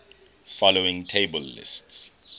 following table lists